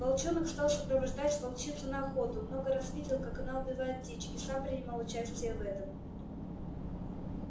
волчонок стал сопровождать волчицу на охоту много раз видел как она убивает дичь и сам принимал участие в этом